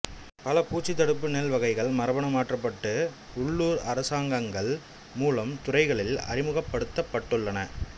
பல பூச்சி தடுப்பு நெல் வகைகள் மரபணு மாற்றப்பட்டு உள்ளூர் அரசாங்கங்கள் மூலம் துறைகளில் அறிமுகப்படுத்தப்பட்டுள்ளன